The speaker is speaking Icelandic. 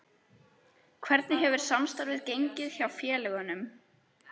Hvernig hefur samstarfið gengið hjá félögunum?